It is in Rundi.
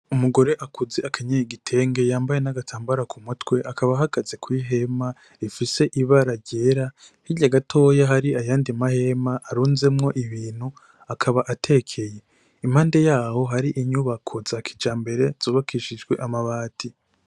Umugore akuze akenyeye igitenge yambaye n'agatambara k'umutwe akaba ahagaze kw'ihema rifise ibara ryera hirya yaho gatoya hari ayandi mahema arunzemwo ibintu akaba atekeye, impande yaho hari inyubako za kijambere z'ubakishijwe amabati.